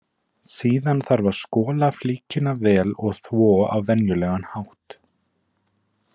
Síðan þarf að skola flíkina vel og þvo á venjulegan hátt.